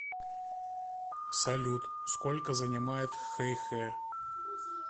салют сколько занимает хэйхэ